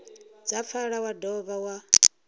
dza pfala wa dovha wa